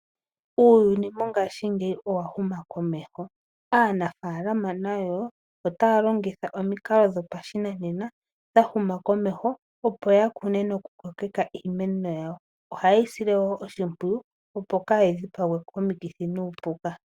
Uuyuni mongashingeyi owahuma komeho. Aanafaalama nayo ota yalongitha omikalo dhopashinanena dhahuma komeho opo yakune nokukokeka iimeno yawo. Ohayeyi sile wo oshimpwiyu opo kayidhipagwe komikithi nuupuka.